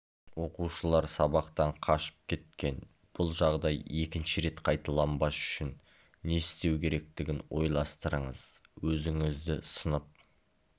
оқушылар сабақтан қашып кеткен бұл жағдай екінші рет қайталанбас үшін не істеу керектігін ойластырыңыз өзіңізді сынып